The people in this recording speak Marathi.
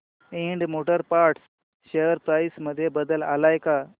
Ind motor parts share price मध्ये बदल आलाय का